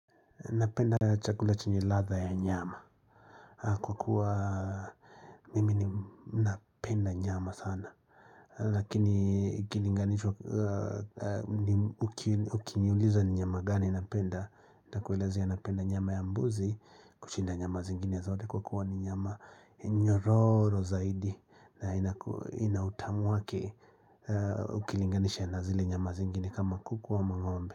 Napenda chakula chenye ladha ya nyama. Kwa kuwa mimi ni napenda nyama sana. Lakini ikilinganishwa ukiniuliza ni nyama gani napenda. Na kuwezea napenda nyama ya mbuzi kushinda nyama zingine zote, kwa kuwa ni nyama nyororo zaidi. Na inaku ina utamu wake ukilinganisha na zile nyama zingine kama kuku wa ama ng'ombe.